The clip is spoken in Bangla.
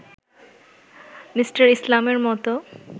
মি. ইসলামের মতো